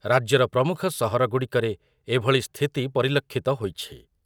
ରାଜ୍ୟର ପ୍ରମୁଖ ସହରଗୁଡ଼ିକରେ ଏଭଳି ସ୍ଥିତି ପରିଲକ୍ଷିତ ହୋଇଛି ।